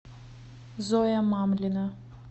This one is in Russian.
зоя мамлина